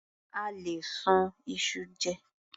A lè sun iṣu jẹ.